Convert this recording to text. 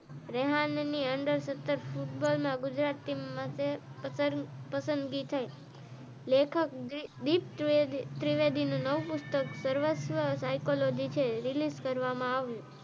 રેહાંડ ની અંડ અંદર સત્તર ફુટબોલ માં ગુજરાત ટિમ માટે પસંદગી થઇ લેખક દીપ ત્રિવેદી નું નવું પુસ્તક સરવસ્ત્ર સાયકોલોજી છે રીલીઝ કરવામાં આવ્યું.